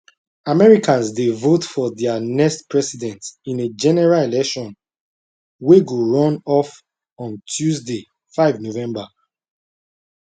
americans dey vote for dia next president in a general election wey go round off on tuesday 5 november